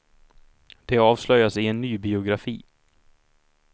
Det avslöjas i en ny biografi.